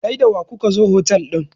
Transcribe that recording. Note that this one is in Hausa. kai da wa kuka zo otal din?